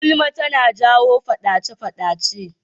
Gulma tana jawo faɗace-faɗace.